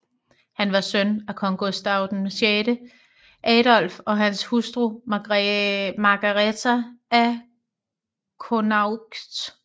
Han var søn af kong Gustav VI Adolf og hans hustru Margareta af Connaught